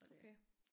Okay